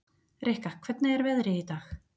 Rikka, hvernig er veðrið í dag?